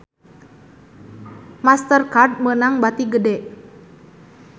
Master Card meunang bati gede